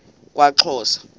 kwaxhosa